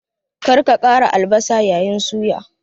Kada ka ƙara albasa yayin suya!